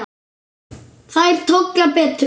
Þær tolla betur.